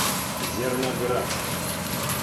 зерноград